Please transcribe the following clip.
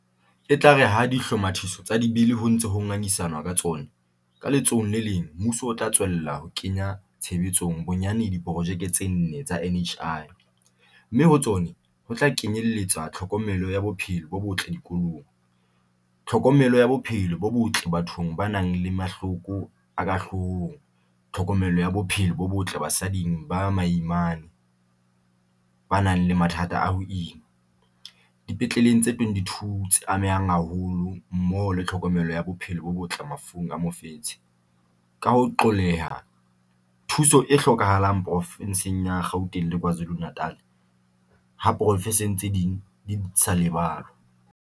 E tla re ha dihlomathiso tsa Dibili ho ntse ho ngangisa nwa ka tsona, ka letsohong le leng mmuso o tla tswella ho kenya tshebetsong bonyane diporojeke tse nne tsa NHI, mme ho tsona ho tla kenye lletsa tlhokomelo ya bophelo bo botle dikolong, tlhokomelo ya bophelo bo botle bathong ba nang le mahloko a ka hloohong, tlhokomelo ya bophelo bo botle basading ba baimane ba nang le mathata a ho ima dipetleleng tse 22 tse amehang haholo mmoho le tlhokomelo ya bophelo bo botle mafung a mofetshe, ka ho qolleha thu so e hlokahalang porofenseng ya Gauteng le KwaZulu-Na tal, ha diporofense tse ding le tsona di sa lebalwa.